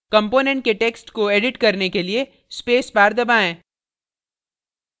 component के text को edit करने के लिए space bar दबाएँ